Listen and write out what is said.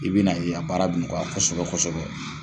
I bɛ n'a ye i ka baara bɛ nɔgɔya kosɛbɛ kosɔbɔɛ.